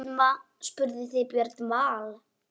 Spurðuð þið Björn Val?